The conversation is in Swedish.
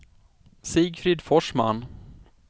Sigfrid Forsman